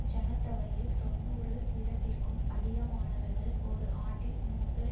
ஜன தொகையில் தொன்னூறு வீதத்திற்கும் அதிகமானவர்கள் ஒரு ஆண்டில் மூன்று